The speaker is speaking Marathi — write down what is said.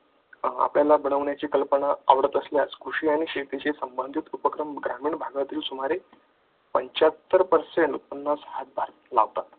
आपल्याला बनवण्याची कल्पना आवडत असल्यास कृषी आणि शेतीशी संबंधित उपक्रम ग्रामीण भागातील सुमारे पंचहात्तर percent पन्नास हजार लावतात